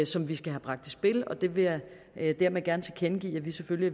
som vi skal have bragt i spil og det vil jeg hermed gerne tilkendegive at vi selvfølgelig